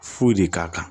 Foyi de k'a kan